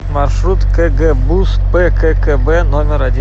маршрут кгбуз пккб номер один